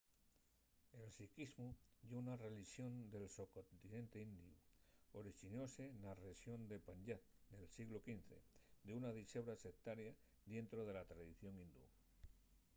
el sikhismu ye una relixón del socontinente indiu. orixinóse na rexón de panyab nel sieglu xv d’una dixebra sectaria dientro de la tradición hindú